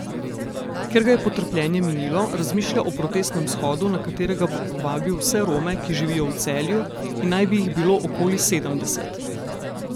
Ker ga je potrpljenje minilo, razmišlja o protestnem shodu, na katerega bo povabil vse Rome, ki živijo v Celju in naj bi jih bilo okoli sedemdeset.